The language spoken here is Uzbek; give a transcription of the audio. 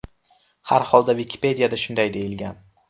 Harholda Wikipedia’da shunday deyilgan.